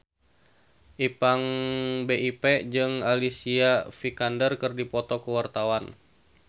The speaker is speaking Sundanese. Ipank BIP jeung Alicia Vikander keur dipoto ku wartawan